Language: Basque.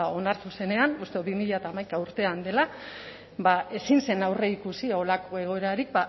onartu zenean uste dut bi mila hamaika urtean dela ezin zen aurreikusi da horrelako egoerarik